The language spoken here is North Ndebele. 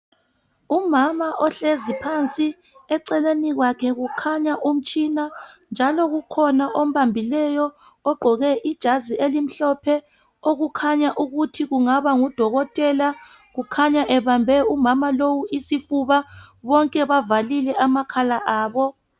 Umama ohlezi phansi eceleni kwakhe kukhanya umtshina njalo kukhona obambileyo ogqoke ijazi elimhlophe okukhanya ukuthi kungaba ngudokotela kukhanya ebambe umama lowo isifuba bonke bavalile amakhala abo.